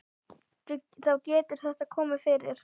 Þá getur þetta komið fyrir.